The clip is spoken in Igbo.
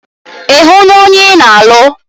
Ì hụ na ònye ị na alụ?